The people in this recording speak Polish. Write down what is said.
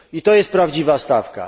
To jest prawdziwa stawka.